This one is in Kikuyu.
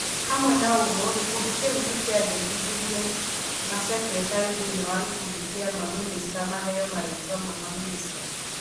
Hamwe na ũguo, gĩkundi kĩu nĩkĩandĩkithirie masekeritarĩ thĩiniĩ wa gĩkundi kĩa mamĩnĩcita maheo marĩtwa ma mamĩnĩcita